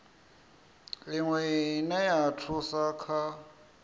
iwe ine ya thusa kha